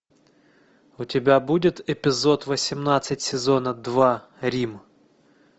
у тебя будет эпизод восемнадцать сезона два рим